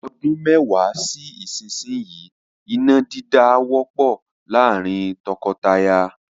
Ọdún mẹ́wàá sí ìsinyìí, iná dídá á wọ́pọ̀ láàrín tọkọtaya.